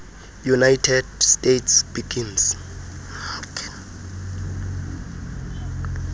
united states began